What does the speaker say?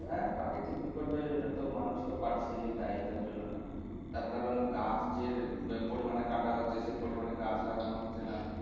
হ্যাঁ প্রাকৃতিক বিপর্যয়ের জন্য তো মানুষ তো দায়ী তার জন্য না। তার কারণ গাছ যে আহ পরিমানে কাটা হচ্ছে সে পরিমানে গাছ লাগানো হচ্ছে না